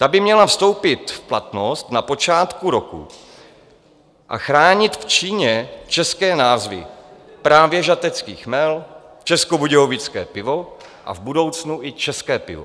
Ta by měla vstoupit v platnost na počátku roku a chránit v Číně české názvy - právě Žatecký chmel, Českobudějovické pivo a v budoucnu i České pivo.